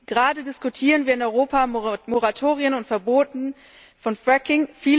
Gerade diskutieren wir in Europa Moratorien und Verbote von Fracking.